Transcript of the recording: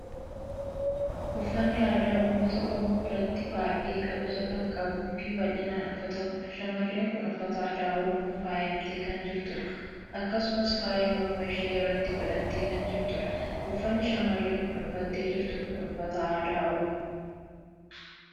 Uffanni aadaa uummata Oromoo biratti baa'ee kabaja kan qabuu fi bal'inaan uffatamudha. Shamarreen kun uffata aadaa Oromoon faayamtee kan jirtudha. Akkasumas faaya morma ishee irratti godhattee kan jirtudha. Uffanni shamarreen kun uffattee jirtu kun uffata aadaa oromo